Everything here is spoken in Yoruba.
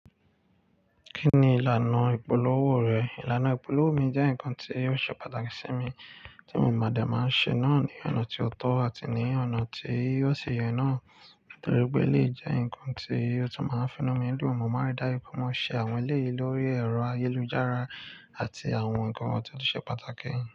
Kí ni ìlànà ìpolówó rẹ̀? Ìlànà ìpolówó mi jẹ́ nǹkan tí ó ṣe pàtàkì sí mi, tí mo máa ń ṣe náà ní ọ̀nà tó tọ́ àti ní ọ̀nà tí ó ṣi yẹ náà torípé elèyii jẹ́ ǹkan tí ó tún máa ń finú mi dun. Mo máa ń ri daju wipe mo ṣe àwọn eleyii lórí ẹ̀rọ ayélujára àti àwọn ǹkan tí ó ṣe pàtàkì.